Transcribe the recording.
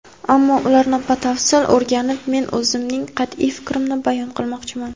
ammo ularni batafsil o‘rganib men o‘zimning qat’iy fikrimni bayon qilmoqchiman.